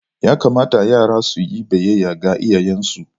Ya kamata yara su yi biyayya ga iyayensu.